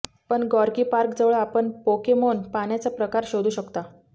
पण Gorky Park जवळ आपण पोकेमोन पाण्याचा प्रकार शोधू शकता